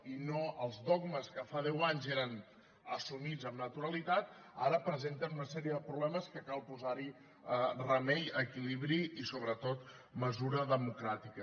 i els dogmes que fa deu anys eren assumits amb naturalitat ara presenten una sèrie de problemes que cal posar hi remei equilibri i sobretot mesura democràtica